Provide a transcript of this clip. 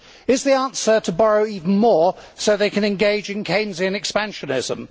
Is the answer to borrow even more so they can engage in Keynesian expansionism?